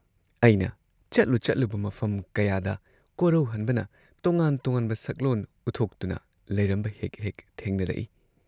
ꯑꯩꯅ ꯆꯠꯂꯨ ꯆꯠꯂꯨꯕ ꯃꯐꯝ ꯀꯌꯥꯗ ꯀꯣꯔꯧꯍꯟꯕꯅ ꯇꯣꯉꯥꯟ ꯇꯣꯉꯥꯟꯕ ꯁꯛꯂꯣꯟ ꯎꯠꯊꯣꯛꯇꯨꯅ ꯂꯩꯔꯝꯕ ꯍꯦꯛ ꯍꯦꯛ ꯊꯦꯡꯅꯔꯛꯏ ꯫